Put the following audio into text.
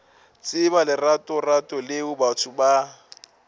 tseba leratorato leo batho ba